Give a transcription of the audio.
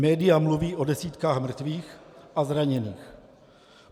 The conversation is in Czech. Média mluví o desítkách mrtvých a zraněných.